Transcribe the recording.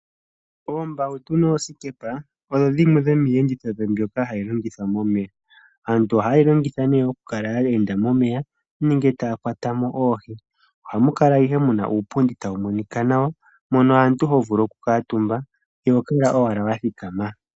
Oombawutu noosikepa odho dhimwe dhomiiyenditho mbyoka hayi longithwa momeya. Aantu oha ye dhi longitha ne okukala ya enda momeya nenge taya kwatamo oohi. Ohamu kala ihe muna uupundi tawu monika nawa mono aantu hovulu okukala omutumba iho kala owala wathikama.